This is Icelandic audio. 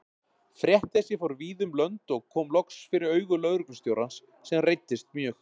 Frétt þessi fór víða um lönd og kom loks fyrir augu lögreglustjórans, sem reiddist mjög.